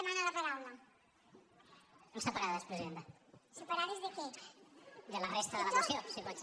de la resta de la moció si pot ser